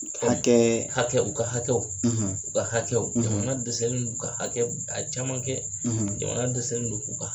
Hakɛ, hakɛ, u ka hakɛw, ,u ka hakɛw, , jamana dɛsɛni don u ka hakɛ ka caman kɛ, , jamana dɛsɛni u ka